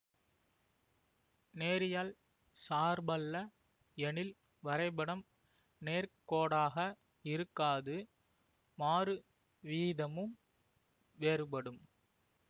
நேரியல் சார்பல்ல எனில் வரைபடம் நேர்கோடாக இருக்காது மாறுவீதமும் வேறுபடும்